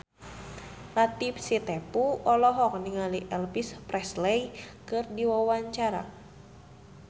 Latief Sitepu olohok ningali Elvis Presley keur diwawancara